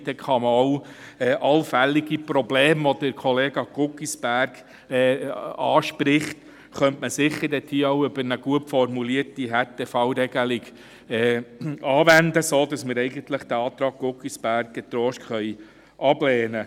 Man kann sicher auch allfällige Probleme, die Kollega Guggisberg anspricht, mit einer gut formulierten Härtefallregelung lösen, sodass wir den Antrag Guggisberg getrost ablehnen können.